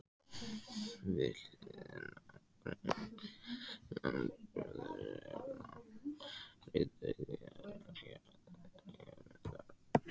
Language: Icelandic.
Við hliðina á grein landbúnaðarráðherra birtist greinargerð Guðmundar